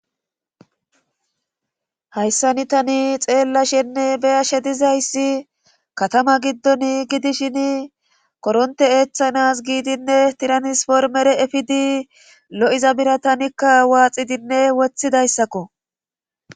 hayssani tani xeella shenne beyashe dizayssi katama giddon gidishini koronte eeththanas giidinne tiranispormere efidi lo7iza bira tanikka waaxidinne wothidayssakko